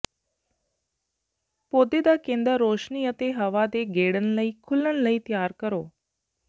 ਪੌਦੇ ਦਾ ਕੇਂਦਰ ਰੋਸ਼ਨੀ ਅਤੇ ਹਵਾ ਦੇ ਗੇੜਨ ਲਈ ਖੁਲ੍ਹਣ ਲਈ ਤਿਆਰ ਕਰੋ